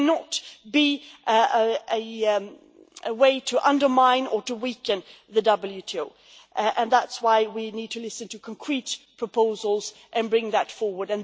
it cannot be a way to undermine or to weaken the WTO. That is why we need to listen to concrete proposals and bring that forward.